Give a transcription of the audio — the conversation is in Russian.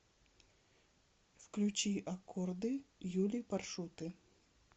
включи аккорды юли паршуты